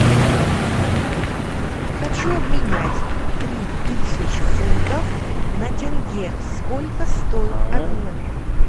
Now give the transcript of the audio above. хочу обменять три тысяч фунтов на тенге сколько стоит обмен